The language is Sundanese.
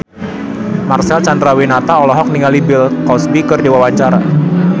Marcel Chandrawinata olohok ningali Bill Cosby keur diwawancara